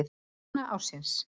Kona ársins?